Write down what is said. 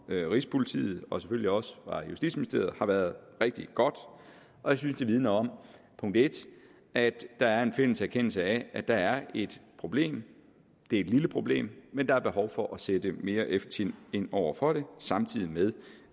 rigspolitiet og selvfølgelig også justitsministeriet har været rigtig godt og jeg synes det vidner om punkt en at der er en fælles erkendelse af at der er et problem det er et lille problem men der er behov for at sætte mere effektivt ind over for det samtidig med